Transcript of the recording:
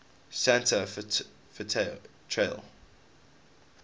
santa fe trail